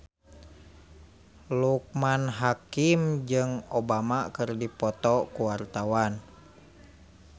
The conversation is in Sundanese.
Loekman Hakim jeung Obama keur dipoto ku wartawan